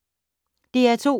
DR2